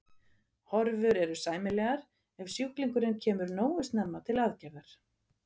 Horfur eru sæmilegar ef sjúklingurinn kemur nógu snemma til aðgerðar.